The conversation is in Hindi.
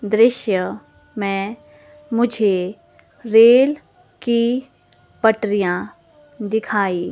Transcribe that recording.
दृश्य में मुझे रेल की पटरियां दिखाई--